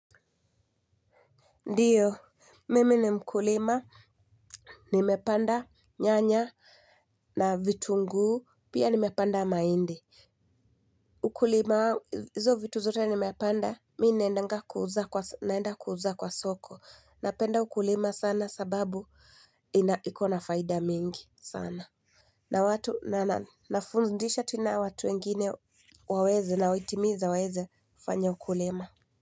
Ndiyo, mimi ni mkulima, nimepanda nyanya na vitunguu, pia nimepanda mahindi. Ukulima, hizo vitu zote nimepanda, mi naendanga kuuza, naenda kuuza kwa soko. Napenda ukulima sana sababu iko na faida mingi sana. Na watu, na nafundisha tena watu wengine waweze nawahitimiza waweze fanya ukulima.